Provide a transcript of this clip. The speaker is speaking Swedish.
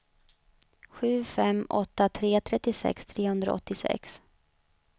sju fem åtta tre trettiosex trehundraåttiosex